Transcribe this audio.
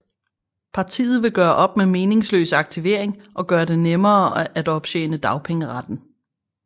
Partiet vil gøre op med meningsløs aktivering og gøre det nemmere at optjene dagpengeretten